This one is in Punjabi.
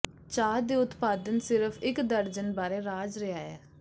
ਚਾਹ ਦੇ ਉਤਪਾਦਨ ਸਿਰਫ ਇੱਕ ਦਰਜਨ ਬਾਰੇ ਰਾਜ ਰਿਹਾ ਹੈ